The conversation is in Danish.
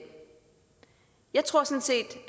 jeg tror sådan set